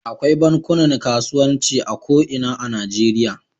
Akwai bankunan kasuwanci a ko ina a Najeriya.